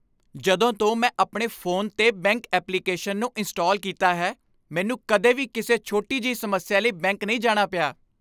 ਜਦੋਂ ਤੋਂ ਮੈਂ ਆਪਣੇ ਫੋਨ 'ਤੇ ਬੈਂਕ ਐਪਲੀਕੇਸ਼ਨ ਨੂੰ ਇੰਸਟਾਲ ਕੀਤਾ ਹੈ, ਮੈਨੂੰ ਕਦੇ ਵੀ ਕਿਸੇ ਛੋਟੀ ਜਿਹੀ ਸਮੱਸਿਆ ਲਈ ਬੈਂਕ ਨਹੀਂ ਜਾਣਾ ਪਿਆ।